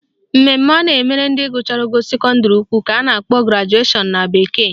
Mmemme a na-emere ndị gụchara ogo sekọndịrị ukwu ka a na-akpọ graduation na bekee